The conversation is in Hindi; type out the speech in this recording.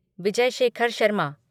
विजय शेखर शर्मा